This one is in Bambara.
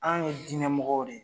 An ye diinɛ mɔgɔw de ye